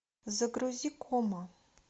загрузи кома